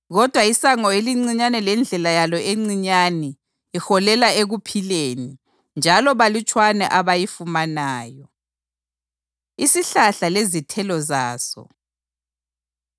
Kodwa isango elincinyane lendlela yalo encinyane iholela ekuphileni, njalo balutshwana abayifumanayo.” Isihlahla Lezithelo Zaso